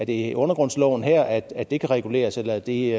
i undergrundsloven her at at det kan reguleres eller er det